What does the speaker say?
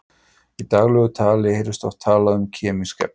Í daglegu tali heyrist oft talað um kemísk efni.